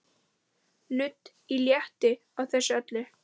Nudd léttir á þessu öllu.